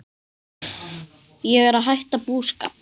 Ég er að hætta búskap.